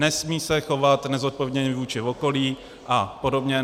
Nesmí se chovat nezodpovědně vůči okolí a podobně.